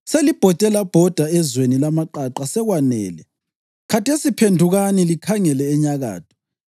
‘Selibhode labhoda ezweni lamaqaqa sekwanele; khathesi phendukani likhangele enyakatho.